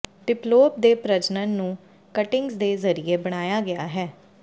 ਡਿਪਲੋਪ ਦੇ ਪ੍ਰਜਨਨ ਨੂੰ ਕਟਿੰਗਜ਼ ਦੇ ਜ਼ਰੀਏ ਬਣਾਇਆ ਗਿਆ ਹੈ